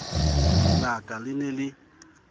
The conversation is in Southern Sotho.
la ka le ne le